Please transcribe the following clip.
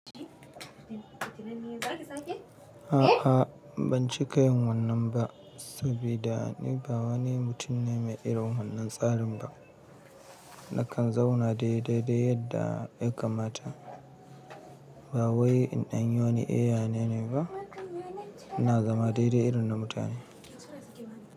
A'a banci ka yin wannan ba, saboda ni ba wani mutum ne mai irin wannan tsarin ba. Na kan zauna dai dai yadda ya kamata ba wai in ɗan yi wani eya nene ba, ina zama dai dai irin na mutane.